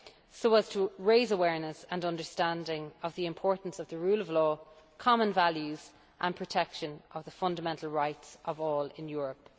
so as to raise awareness and understanding of the importance of the rule of law, common values and protection of the fundamental rights of all in Europe.